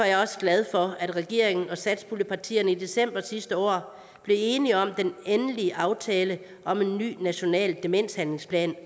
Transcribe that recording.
jeg også glad for at regeringen og satspuljepartierne i december sidste år blev enige om den endelige aftale om en ny national demenshandlingsplan